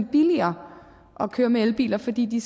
billigere at køre med elbiler fordi de